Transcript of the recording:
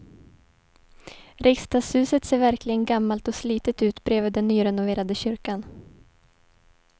Riksdagshuset ser verkligen gammalt och slitet ut bredvid den nyrenoverade kyrkan.